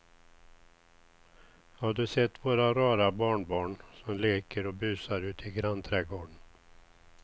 Har du sett våra rara barnbarn som leker och busar ute i grannträdgården!